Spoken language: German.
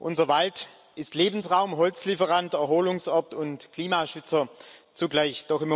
Unser Wald ist Lebensraum, Holzlieferant, Erholungsort und Klimaschützer zugleich.